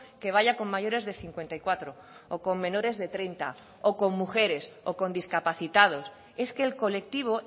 que vaya con mayores de cincuenta y cuatro o con menores de treinta o con mujeres o con discapacitados es que el colectivo